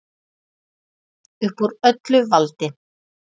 Upp úr öllu valdi